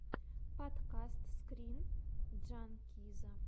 подкаст скрин джанкиза